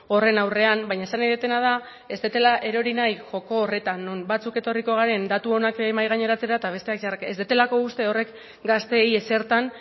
horren aurrean baina esan nahi dudana da ez dudala erori nahi joko horretan non batzuk etorriko garen datu onak mahai gaineratzea eta besteak txarrak ez dudalako uste horrek gazteei ezertan